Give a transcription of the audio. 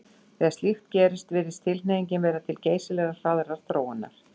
Þegar slíkt gerist virðist tilhneigingin verða til geysilega hraðrar þróunar.